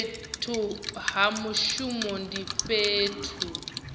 fhethu ha mushumo ndi fhethu